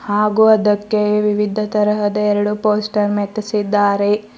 ಹಾಗೂ ಅದಕ್ಕೆ ವಿವಿಧ ತರಹದ ಎರಡು ಪೋಸ್ಟರ್ ಮೆತ್ತಿಸಿದ್ದಾರೆ.